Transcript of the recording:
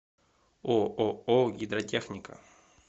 ооо гидротехника